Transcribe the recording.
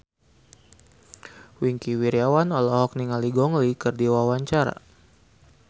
Wingky Wiryawan olohok ningali Gong Li keur diwawancara